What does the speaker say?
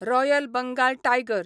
royal Bengal tiger